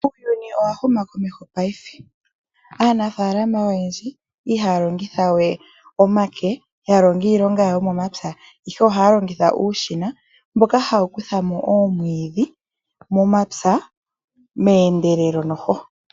Uuyuni owa huma komeho paife. Aanfaalama oyendji ihaya longitha we omake, ya longe iilonga yawo yomomapya, ihe ohaya longitha uushina mboka hawu kutha mo oomwiidhi momapya meendelelo.